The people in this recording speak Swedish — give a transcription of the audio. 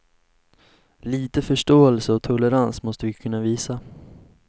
Lite förståelse och tolerans måste vi kunna visa.